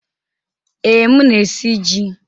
Ee, m na-esi ji.